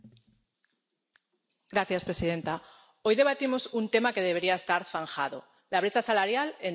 Señora presidenta, hoy debatimos un tema que debería estar zanjado la brecha salarial entre hombres y mujeres.